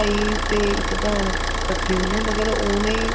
ਇਹੀ ਇੱਕ ਭੈਣ ਕੱਠੇ ਹੁੰਦੇ ਆ ਮਗਰ ਉਹਨੇ